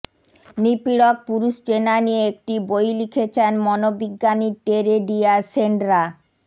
নিপীড়ক পুরুষ চেনা নিয়ে একটি বই লিখেছেন মনোবিজ্ঞানী টেরে ডিয়াজ সেন্ড্রা